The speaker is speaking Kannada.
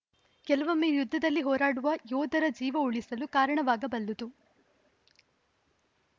ಕೆಲವೊಮ್ಮೆ ಯುದ್ಧದಲ್ಲಿ ಹೋರಾಡುವ ಯೋದರ ಜೀವ ಉಳಿಸಲು ಕಾರಣವಾಗಬಲ್ಲದು